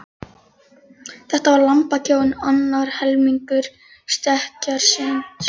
Þetta var lambakróin, annar helmingur stekkjarins.